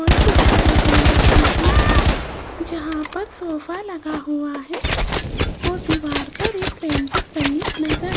दिखाई दे रहा है जहां पर सोफा लगा हुआ है और दीवार पर एक पेंटिंग बनी नजर --